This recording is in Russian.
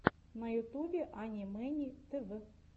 на ютубе ани мэни тв